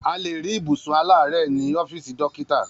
A lè rí ibùsùn aláàárẹ̀ ní ọ́fìsì dókítà